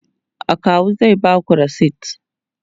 akawu zai Baku resit